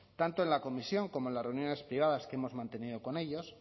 tanto en la comisión como en las reuniones privadas que hemos mantenido con ellos